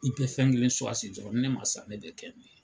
I pɛ fɛn kelen suwasi dɔrɔn ni ne man sa ne bɛ kɛ nin ye.